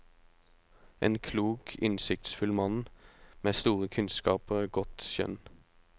En klok, innsiktsfull mann med store kunnskaper og godt skjønn.